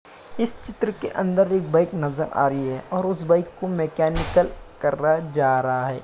इस चित्र के अंदर एक बाइ नज़र आ रही है और उस बाइक को मैकनिकल कर रहा जा रहा है।